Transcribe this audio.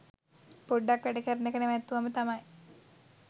පොඩ්ඩක් වැඩ කරන එක නැවත්තුවම තමයි.